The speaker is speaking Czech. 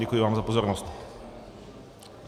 Děkuji vám za pozornost.